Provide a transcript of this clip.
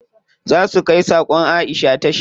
Za su kai sakon Aisha tasha.